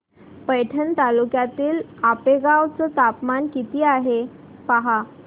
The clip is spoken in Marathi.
पैठण तालुक्यातील आपेगाव चं तापमान किती आहे पहा